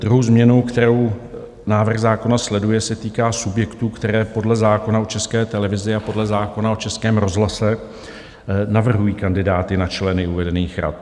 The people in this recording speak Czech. Druhá změna, kterou návrh zákona sleduje, se týká subjektů, které podle zákona o České televizi a podle zákona o Českém rozhlase navrhují kandidáty na členy uvedených rad.